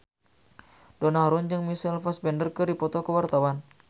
Donna Harun jeung Michael Fassbender keur dipoto ku wartawan